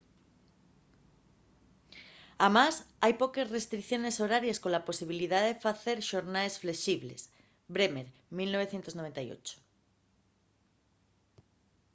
amás hai poques restricciones horaries cola posibilidá de facer xornaes flexibles. bremer 1998